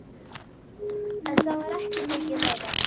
En það var ekki mikið meira.